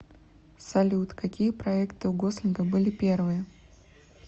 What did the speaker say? салют какие проекты у гослинга были первые